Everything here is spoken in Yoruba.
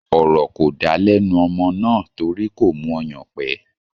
Ọ̀rọ̀ kò dá lẹ́nu ọmọ náà torí kò mú ọyàn pé